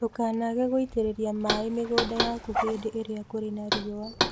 Ndũkanage gũitereria maaĩ mĩgũnda yaku hĩndĩ ĩrĩa kũrĩ na riũa.